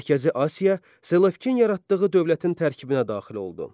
Mərkəzi Asiya Selevkin yaratdığı dövlətin tərkibinə daxil oldu.